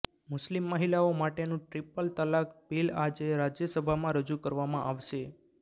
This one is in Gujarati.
મુસ્લિમ મહિલાઓ માટેનું ટ્રીપલ તલાક બિલ આજે રાજ્યસભામાં રજૂ કરવામાં આવશે